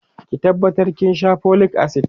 ki tabbata kin Sha folic acid!